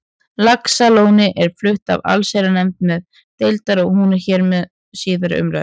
Laxalóni er flutt af allsherjarnefnd neðri deildar og hún er hér til síðari umræðu.